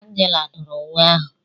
Angela dụrụ uwe ahụ.